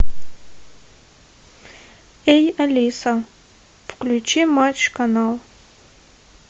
эй алиса включи матч канал